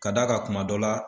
Ka d'a kan kuma dɔ la